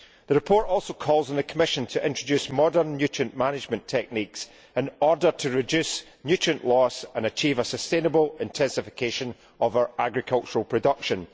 The report also calls on the Commission to introduce modern nutrient management techniques in order to reduce nutrient loss and achieve a sustainable intensification of our agricultural production.